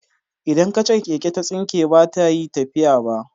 Idan kachar keke ta tsinke baza ta yi tafiya ba.